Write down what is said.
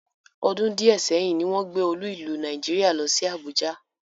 Ọdún díẹ̀ sẹ́yìn ni wọ́n gbé olú ìlú Nàìjíríà lọ sí Àbújá